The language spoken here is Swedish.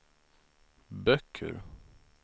böcker